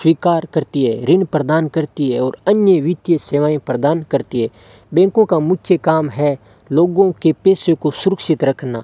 स्वीकार करती है रिन्ह प्रदान करती है और अन्य वित्तीय सेवाएं प्रदान करती है बैंकों का मुख्य काम है लोगों के पेशे को सुरक्षित रखना --